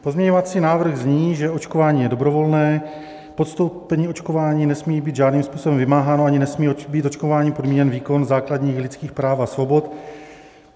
Pozměňovací návrh zní, že očkování je dobrovolné, podstoupení očkování nesmí být žádným způsobem vymáháno ani nesmí být očkováním podmíněn výkon základních lidských práv a svobod.